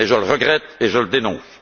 Je le regrette et je le dénonce.